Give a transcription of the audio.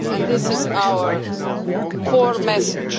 This is our core message.